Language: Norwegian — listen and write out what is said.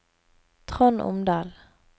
Trond Omdal